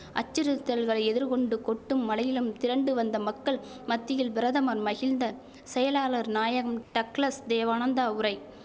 அச்சுறுத்தல்களை எதிர்கொண்டு கொட்டும் மழையிலும் திரண்டு வந்த மக்கள் மத்தியில் பிரதமர் மகிழ்ந்த செயலாளர் நாயகம் டக்ளஸ் தேவானந்தா உரை